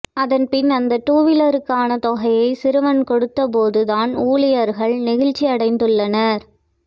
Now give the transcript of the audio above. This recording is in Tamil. அதன் பின் அந்த டூவிலருக்கான தொகையை சிறுவன் கொடுத்த போது தான் ஊழியர்கள் நெகிழ்ச்சியடைந்துள்ளனர்